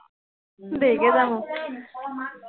দেৰিকে যাম আৰু